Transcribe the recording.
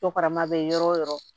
Jɔkarama bɛ yɔrɔ o yɔrɔ